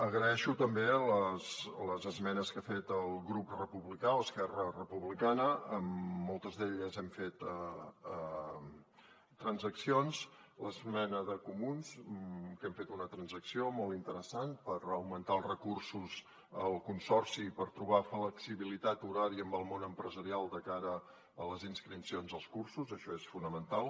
agraeixo també les esmenes que ha fet el grup republicà o esquerra republicana en moltes d’elles hem fet transaccions l’esmena de comuns que hem fet una transacció molt interessant per augmentar els recursos al consorci i per trobar flexibilitat horària amb el món empresarial de cara a les inscripcions als cursos això és fonamental